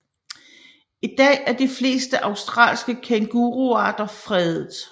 I dag er de fleste australske kænguruarter fredet